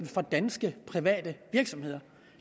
for danske private virksomheder